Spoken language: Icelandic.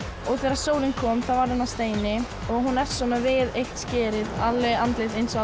og þegar sólin kom þá varð hún að steini og hún er svona við eitt skerið andlit eins og á